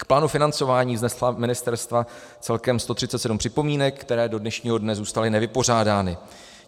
K plánu financování vznesla ministerstva celkem 137 připomínek, které do dnešního dne zůstaly nevypořádány.